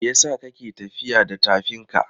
Me yasa ka ke tafiya da tafinka?